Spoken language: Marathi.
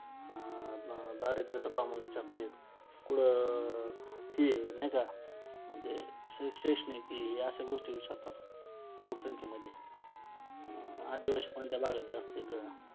अं दारिद्र्याचं प्रमाण विचारत्यात. कुठं हे नाही का म्हणजे हे अशा गोष्टी विचारतात. लोकसंख्येमध्ये आदिवासी कोणत्या भागात जास्त आहेत?